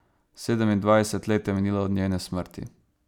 Sedemindvajset let je minilo od njene smrti.